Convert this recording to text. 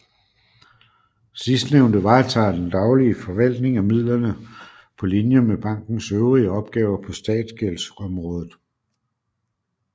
Sidstnævnte varetager den daglige forvaltning af midlerne på linje med bankens øvrige opgaver på statsgældsområdet